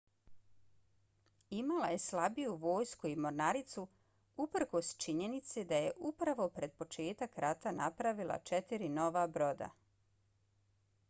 imala je slabiju vojsku i mornaricu uprkos činjenici da je upravo pred početak rata napravila četiri nova broda